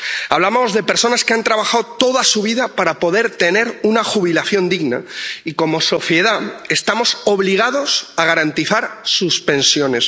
Hablamos de personas que han trabajado toda su vida para poder tener una jubilación digna, y como sociedad estamos obligados a garantizar sus pensiones.